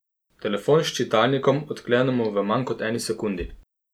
Telefon s čitalnikom odklenemo v manj kot eni sekundi.